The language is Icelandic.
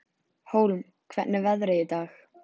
Hólm, hvernig er veðrið í dag?